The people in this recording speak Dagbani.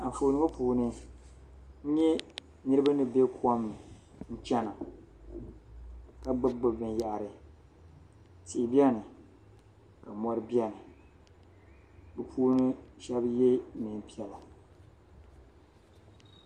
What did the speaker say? Anfooni ŋɔ puuni n nye niribi ni be kom ni chana ka gbubi gbubi binyaɣari tihi beni ka mɔri beni bɛ puuni shɛb ye nɛɛn piɛla.